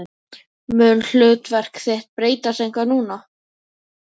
Mun hlutverk þitt breytast eitthvað núna?